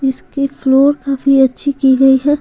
इसकी फ्लोर काफी अच्छी की गई है।